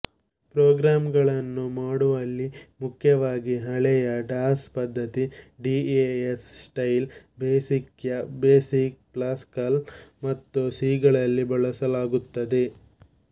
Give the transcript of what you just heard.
program ಗಳನ್ನು ಮಾಡುವಲ್ಲಿ ಮುಖ್ಯವಾಗಿ ಹಳೆಯ ಡಾಸ್ ಪದ್ಧತಿಡಿಓಎಸ್ ಸ್ಟೈಲ್ ಬೇಸಿಕ್ಯ ಬೇಸಿಕ್ ಪಾಸ್ಕಲ್ ಮತ್ತು ಸಿ ಗಳಲ್ಲಿ ಬಳಸಲಾಗುತ್ತದೆ